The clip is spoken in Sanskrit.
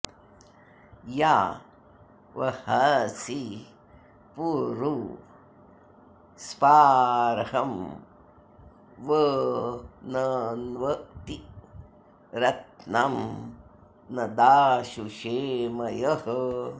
या वह॑सि पु॒रु स्पा॒र्हं व॑नन्वति॒ रत्नं॒ न दा॒शुषे॒ मयः॑